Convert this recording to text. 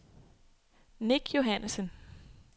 Nick Johannessen